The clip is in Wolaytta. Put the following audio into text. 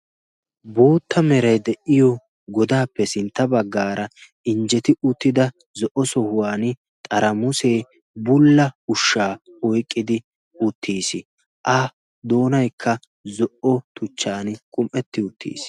bootta merai de7iyo godaappe sintta baggaara injjeti uttida zo77o sohuwan xaramuusee bulla ushshaa oiqqidi uttiis. a doonaikka zo77o tuchchan qum77etti uttiis.